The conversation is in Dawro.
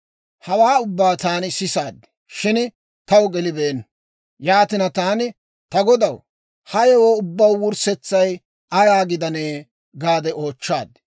Hawaa ubbaa taani sisaad; shin taw gelibeenna. Yaatina, taani, «Ta godaw, ha yewoo ubbaw wurssetsay ayaa gidanee?» gaade oochchaad.